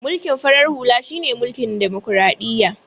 Mulkin farar halu shine mulkin demokradiyya